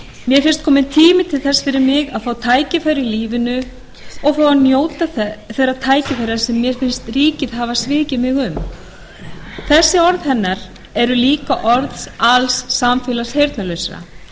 mér finnst kominn tími til þess fyrir mig að fá tækifæri í lífinu og fá að njóta þeirra tækifæra sem mér finnst ríkið hafa svikið mig um þessi orð hennar eru líka orð alls samfélags heyrnarlausra